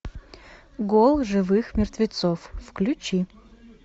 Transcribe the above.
гол живых мертвецов включи